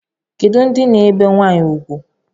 Kedu ndị na-ebe nwanyị ugwu?